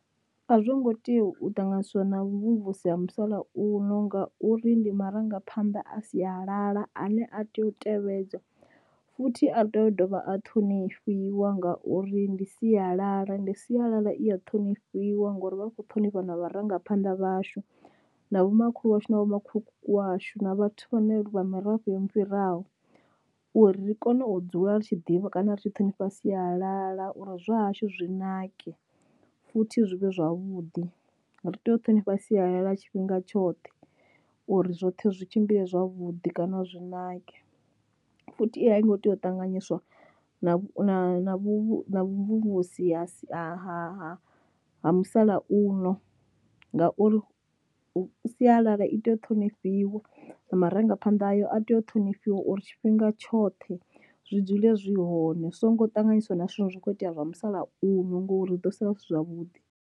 A zwo ngo tea u ṱanganyiswa na vhuvhusi ha musalauno ngauri ndi marangaphanḓa a sialala ane a tea u tevhedzwa, futhi a tea u dovha a ṱhonifhiwa ngauri ndi sialala ende sialala i ya ṱhonifhiwa ngori vha vha kho ṱhonifha na vharangaphanḓa vhashu na vhomakhulu washu na vho makhulukuku washu na vhathu vha ne vha mirafho yo mu fhiraho uri ri kone u dzula ri tshi ḓivha kana ri tshi ṱhonifha sialala uri zwa hashu zwi nake futhi zwi vhe zwavhuḓi. Ri tea u ṱhonipha sialala tshifhinga tshoṱhe uri zwoṱhe zwi tshimbile zwavhuḓi kana zwi nake, futhi i a i ngo tea u ṱanganyiswa na vhu na na vhuvhusi ha si ha ha ha musalauno ngauri sialala i tea u ṱhonifhiwa na marangaphanḓa ayo a tea u ṱhonifhiwa uri tshifhinga tshoṱhe zwi dzule zwi hone zwi songo ṱanganyiswa na zwithu zwine zwa kho itea zwa musalauno ngori ri ḓo sala zwi si zwavhuḓi.